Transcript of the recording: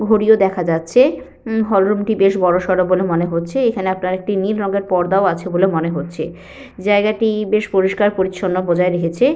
ঘড়িও দেখা যাচ্ছে। উ হল রুম টি বেশ বড় সরো বলে মনে হচ্ছে। এখানে আপনার একটি নীল রঙের পর্দাও আছে বলে মনে হচ্ছে। জায়গাটি-ই বেশ পরিষ্কার পরিচ্ছন্ন বজায় রেখেছে--